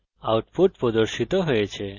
এখানে আউটপুট প্রদর্শিত হয়েছে: